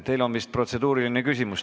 Teil on vist protseduuriline küsimus.